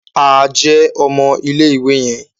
A jẹ ọmọ ilé-ìwé yẹn